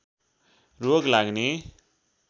रोग लाग्ने